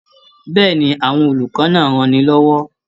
Bẹ́ẹ̀ni, àwọn olùkọ́ náà ranni lọ́wọ́.